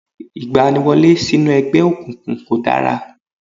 Ìgbaniwọlé sínú ẹgbẹ́ òkùnkùn kọ̀ dára